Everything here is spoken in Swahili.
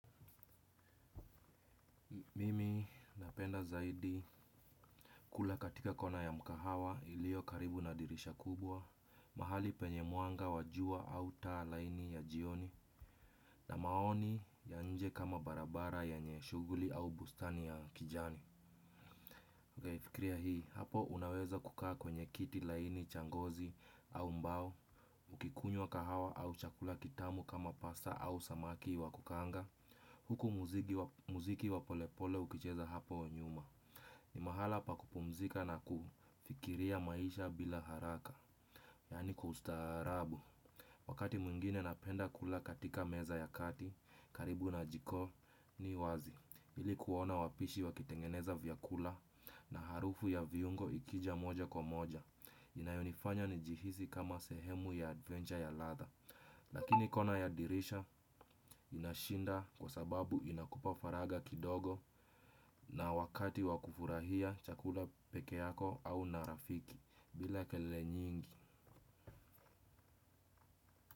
Mimi napenda zaidi kula katika kona ya mkahawa iliyo karibu na dirisha kubwa. Mahali penye mwanga wa jua au taa laini ya jioni. Na maoni ya nje kama barabara yenye shughuli au bustani ya kijani. Ukaifikiria hii hapo unaweza kukaa kwenye kiti laini cha ngozi au mbao. Ukikunywa kahawa au chakula kitamu kama pasta au samaki wa kukaanga. Huku muziki wa polepole ukicheza hapo nyuma. Ni mahala pa kupumzika na kufikiria maisha bila haraka. Yaani kwa ustaarabu wakati mwingine napenda kula katika meza ya kati karibu na jikoni wazi ili kuona wapishi wakitengeneza vyakula. Na harufu ya viungo ikija moja kwa moja inayonifanya nijihisi kama sehemu ya adventure ya ladha. Lakini kona ya dirisha inashinda kwa sababu inakupa faragha kidogo. Na wakati wa kufurahia chakula peke yako au na rafiki bila kelele nyingi.